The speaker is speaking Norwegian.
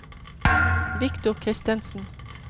Victor Christensen